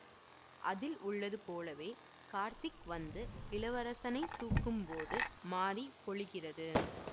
அதில் உள்ளது போலவே கார்த்திக் வந்து இளவரசனை தூக்கும் போது மாரி பொழிகிறது